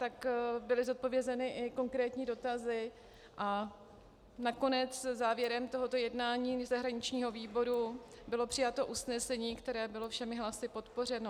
Tak byly zodpovězeny i konkrétní dotazy a nakonec závěrem tohoto jednání zahraničního výboru bylo přijato usnesení, které bylo všemi hlasy podpořeno.